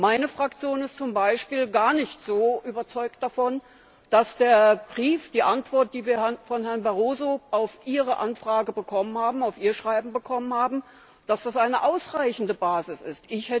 Meine Fraktion ist zum Beispiel gar nicht so überzeugt davon, dass der Brief, die Antwort, die wir von Herrn Barroso auf Ihre Anfrage, auf Ihr Schreiben hin bekommen haben, eine ausreichende Basis ist.